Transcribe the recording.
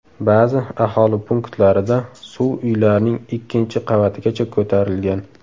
Ba’zi aholi punktlarida suv uylarning ikkinchi qavatigacha ko‘tarilgan.